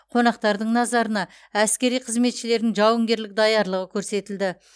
қонақтардың назарына әскери қызметшілердің жауынгерлік даярлығы көрсетілді